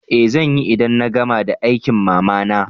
Eh zanyi, idan na gama da aikin mama na.